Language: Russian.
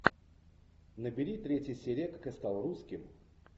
набери третья серия как я стал русским